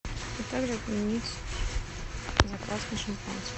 а также отменить заказ на шампанское